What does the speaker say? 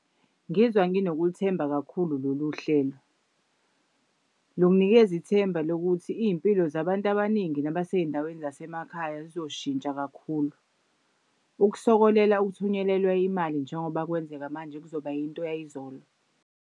Ngizwa nginokulithemba kakhulu lolu hlelo. Lunginikeza ithemba lokuthi iy'mpilo zabantu abaningi nabasey'ndaweni zasemakhaya zizoshintsha kakhulu. Ukusokolela uthunyelelwa imali njengoba kwenzeka manje kuzoba yinto yayizolo.